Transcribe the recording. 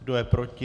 Kdo je proti?